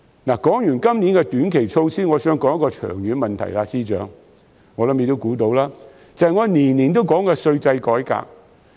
說罷今年的短期措施，我想談一個長遠問題，相信司長也估到，就是我每年都會提出的稅制改革。